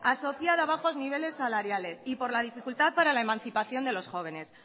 asociada a bajos niveles salariales y por la dificultad para la emancipación de los jóvenes